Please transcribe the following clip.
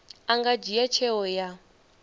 a nga dzhia tsheo ya